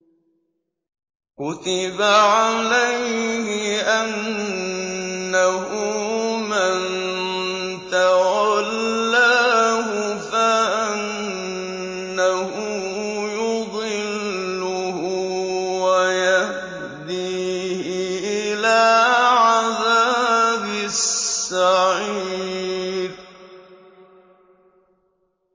كُتِبَ عَلَيْهِ أَنَّهُ مَن تَوَلَّاهُ فَأَنَّهُ يُضِلُّهُ وَيَهْدِيهِ إِلَىٰ عَذَابِ السَّعِيرِ